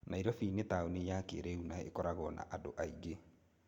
Nairobi nĩ taũni ya kĩĩrĩu na ĩkoragwo na andũ aingĩ.